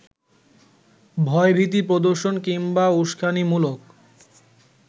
ভয়ভীতি প্রদর্শন কিংবা উস্কানিমূলক